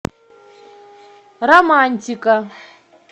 романтика